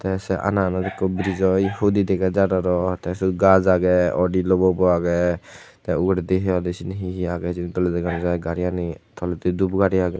te se ananot ikko brijo hudi dega jar arow te siot gaj agey awdi logobo agey te uguredi hi hoide seni hi hi agey hijeni doley dega nw jai gariani toledi dup gari agey.